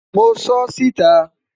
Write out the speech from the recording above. mo sọ ọ́ síta